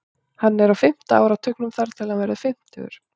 Hann er á fimmta áratugnum þar til hann verður fimmtugur.